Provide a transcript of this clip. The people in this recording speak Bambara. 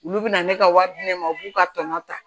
Olu bɛna ne ka wari di ne ma u b'u ka tɔnɔ ta